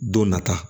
Don nata